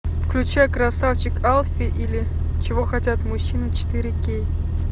включай красавчик алфи или чего хотят мужчины четыре кей